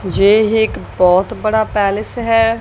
येह एक बहोत बड़ा पैलेस है।